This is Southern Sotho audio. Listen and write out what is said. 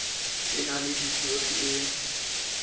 e na le histori e